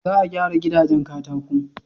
Za a gyara gidajen katako.